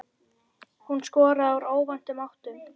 Hún skoraði úr óvæntum áttum.